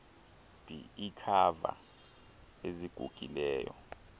b iikhava ezigugileyo